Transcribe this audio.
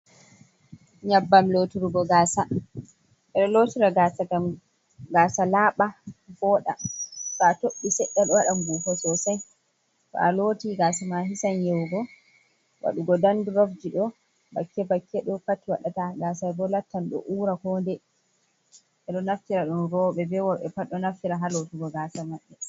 Nyabbam loturgo gasa, lotira gasa ngam gaasa laaba voda ɓo to a tobbi sedda ɗo wadan ngufo sosai to a loti gasa ma hisan yawugo wadugo Dan drof, ɗo bakke bakke ɗo pat waɗata gasa bo lattan ɗo ura ko ndei. enɗo naftira don roɓe be worɓe pat ɗo naftira ha lotugo gasa maɓɓe.